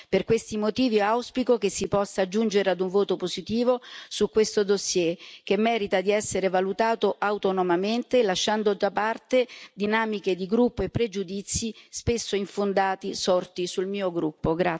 Per questi motivi, auspico che si possa giungere ad un voto positivo su questo dossier, che merita di essere valutato autonomamente, lasciando da parte dinamiche di gruppo e pregiudizi spesso infondati, sorti sul mio gruppo.